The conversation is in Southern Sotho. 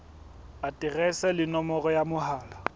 aterese le nomoro ya mohala